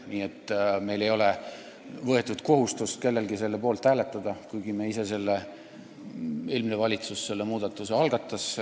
Nii et meie fraktsioonil ei ole kellelgi kohustust selle poolt hääletada, kuigi me ise selle välja käisime: eelmine valitsus selle muudatuse ju algatas.